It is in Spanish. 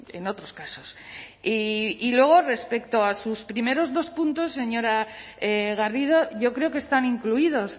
en otros casos y luego respecto a sus primeros dos puntos señora garrido yo creo que están incluidos